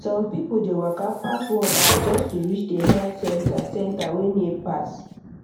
some people dey waka pass one hour just to reach the health center center wey near pass